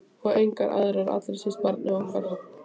Og enga aðra- allra síst barnið okkar.